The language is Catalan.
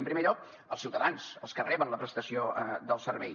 en primer lloc els ciutadans els que reben la prestació del servei